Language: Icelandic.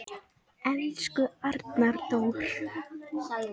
Elsku Arnar Dór.